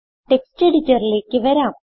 text എഡിറ്ററിലേക്ക് വരാം